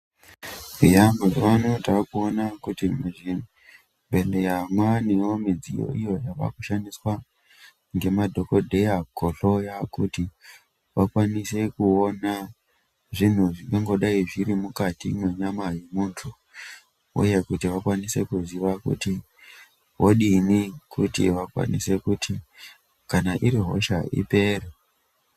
Eya mazuwa ano takuona kuti muzvibhedhleya mwaanewo midziyo inoshandiswa ngemadhokodheya kuhloya kuti vakwanise kuona zvintu zvinenga zviri mukati mwenyama yemuntu uye kuti vakwanise kuziya kuti vodini kuti vakwanise kuti kana iri hosha ipere.